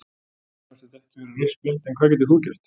Mér fannst þetta ekki vera rautt spjald en hvað getur þú gert?